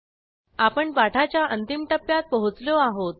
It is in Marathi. आपण पाठाच्या अंतिम टप्प्यात पोहोचलो आहोत